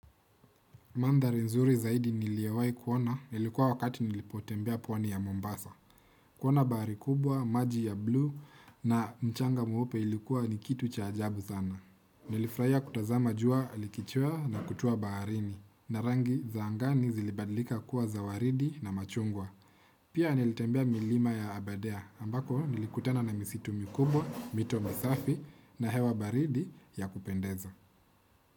Mandhari nzuri zaidi niliowai kuona ilikuwa wakati nilipotembea pwani ya Mombasa. Kuona bahari kubwa, maji ya blue na mchanga mweupe ilikuwa ni kitu cha ajabu zana. Nilifuraia kutazama jua likichua na kutua baharini. Na rangi za angani zilibadlika kuwa za waridi na machungwa. Pia nilitembea milima ya abadea ambako nilikutana na misitu mikubwa, mito misafi na hewa baridi ya kupendeza.